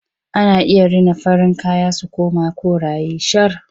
Ana iya rina farin kaya su koma koraye shar.